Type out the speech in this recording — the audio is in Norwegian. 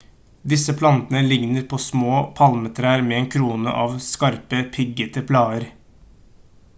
disse plantene ligner på små palmetrær med en krone av skarpe piggete blader